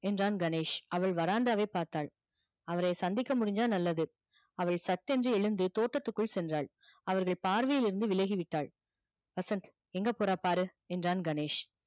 என்றான் கணேஷ் அவள் veranda வை பார்த்தாள் அவரை சந்திக்க முடிஞ்சா நல்லது அவள் சற்றென்று எழுந்து தோட்டத்திற்குள் சென்றாள் அவர்கள் பார்வையில் இருந்து விலகிவிட்டாள் வசந்த் எங்க போறா பாரு என்றான் கணேஷ்